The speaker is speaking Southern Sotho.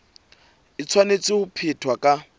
e tshwanetse ho phethwa ka